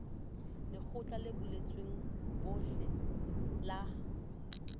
lekgotleng le buletsweng bohle la